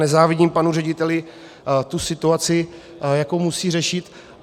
Nezávidím panu řediteli tu situaci, jakou musí řešit.